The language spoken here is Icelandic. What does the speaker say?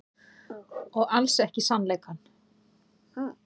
Og alls ekki sannleikann.